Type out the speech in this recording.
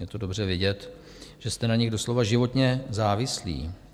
Je to dobře vidět, že jste na nich doslova životně závislí.